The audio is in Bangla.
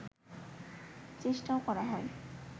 চেষ্টাও করা হয়